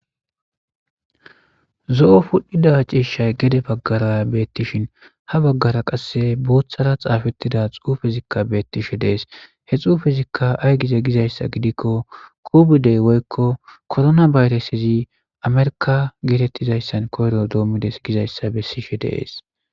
Zo'o pudhida ciishay gede bagara betishn ha bagara qase boothara xafetida xufezika betishe de'es. He xufezika ay gize gizaysa gidikon covide woyko corona virus America getetizaysan koyro domids gizaysa besishe de'es.